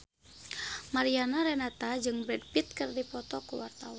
Mariana Renata jeung Brad Pitt keur dipoto ku wartawan